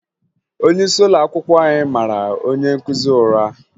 Onyeisi ụlọakwụkwọ anyị mara onye nkụzi ụra